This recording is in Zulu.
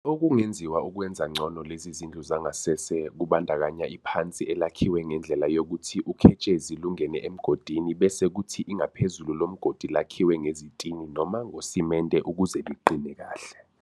Okunye okungenziwa ukwenza ngcono lezi zindlu zangasese kubandakanya iphansi elakhiwe ngendlela yokuthi uketshezi lungene emgodini bese kuthi ingaphezulu lomgodi lakhiwe ngezitini noma ngosimende ukuze liqine kahle.